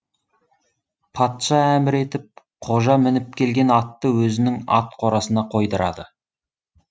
патша әмір етіп қожа мініп келген атты өзінің ат қорасына қойдырады